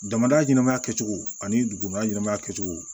Jamana ɲɛnɛmaya kɛcogo ani duguma ɲɛnamaya kɛcogo